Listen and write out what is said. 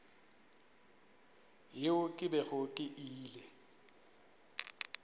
yeo ke bego ke ile